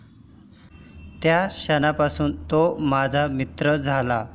त्या क्षणापासून तो माझा मित्र झाला.